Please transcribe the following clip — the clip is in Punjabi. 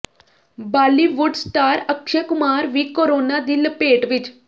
ਬਾਲੀਵੁੱਡ ਸਟਾਰ ਅਕਸ਼ੇ ਕੁਮਾਰ ਵੀ ਕੋਰੋਨਾ ਦੀ ਲਪੇਟ ਵਿੱਚ